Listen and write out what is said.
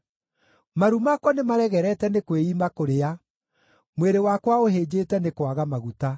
Maru makwa nĩmaregerete nĩ kwĩima kũrĩa; mwĩrĩ wakwa ũhĩnjĩte nĩ kwaga maguta.